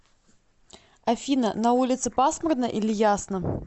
афина на улице пасмурно или ясно